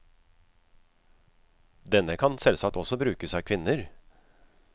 Denne kan selvsagt også brukes av kvinner.